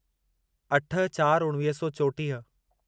अठ चार उणिवीह सौ चोटीह